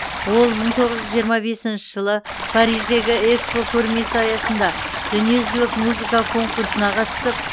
ол мың тоғыз жүз жиырма бесінші жылы париждегі экспо көрмесі аясында дүниежүзілік музыка конкурсына қатысып